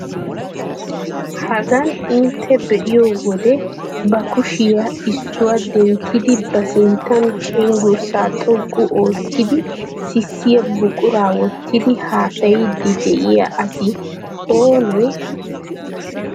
Hagan intte be'iyo wode ba kushiya issuwa denttidi ba sinttan cenggurssaa xoqqu oottidi sissiya buquraa wottidi haasayiiddi de'iya asi oonee?